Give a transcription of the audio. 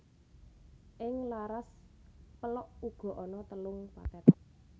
Ing laras pélog uga ana telung pathet